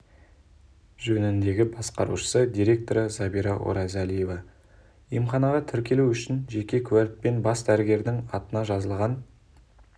жөніндегі басқарушы директоры забира оразалиева емханаға тіркелу үшін жеке куәлік пен бас дәрігердің атына жазылған